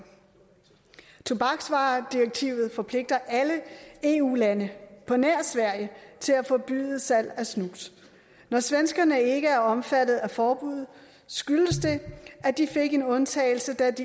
tobaksvaredirektivet forpligter alle eu lande på nær sverige til at forbyde salg af snus når svenskerne ikke er omfattet af forbuddet skyldes det at de fik en undtagelse da